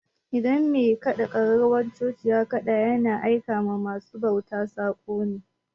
In mai kaɗa ƙararrawan coci ya ƙada ya na aika wa ma su bauta saƙo ne